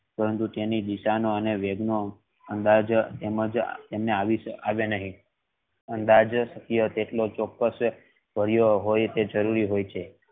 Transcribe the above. ત્રણ રૂપિયા ની design નો અને વેદ નો અંદાજ તેમને આવે નહિ અંદાજ કેટલો ચોક્સ હોય તે જરૂરી છે.